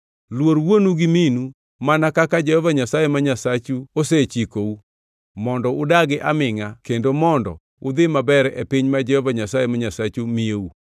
Luor wuonu gi minu mana kaka Jehova Nyasaye ma Nyasachu osechikou, mondo udagi amingʼa kendo mondo udhi maber e piny ma Jehova Nyasaye ma Nyasachu miyou.